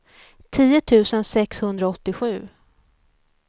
tio tusen sexhundraåttiosju